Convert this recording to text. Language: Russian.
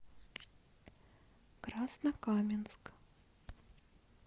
краснокаменск